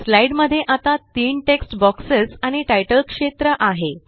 slide मध्ये आता तीन टेक्स्ट बोक्सेस आणि तितले क्षेत्र आहे